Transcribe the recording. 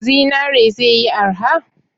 Zinare ze yi arha?